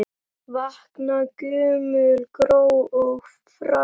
Vakna gömul gró og fræ.